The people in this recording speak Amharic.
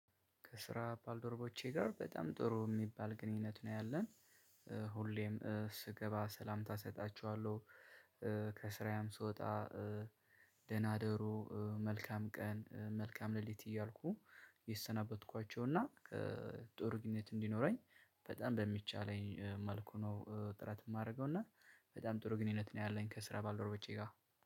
ከስራ ባልደረቦቼ ጋር በጣም ጥሩ እሚባል ግንኙነት ነው ያለን። ሁሌም ስገባ ሰላምታ እሰጣችኋለሁ። ከስራዬም ስወጣ። ደህና ደሩ መልካም ቀን መልካም ሌሊት እያልኩ የሰናበትኳቸው እና ከጥሩ ግንኙነት እንዲኖረኝ በጣም በሚቻለኝ መልኩ ነው። ጥረት እማደርገው እና በጣም ጥሩ ግንኙነት ነው ያለኝ። ከስራ ባልደረቦቼ ጋር።